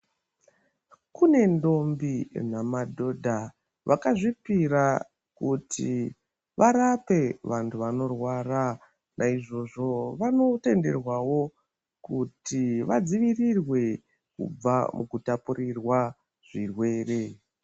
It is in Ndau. Kune ntombi namadhodha vakazvipira kuti varape vantu vanorwara. Naizvozvo ,vanotenderwawo kuti vadzivirirwe kubva mukutapurirwa zvirwere.